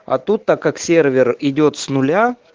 а тут так как сервер идёт с нуля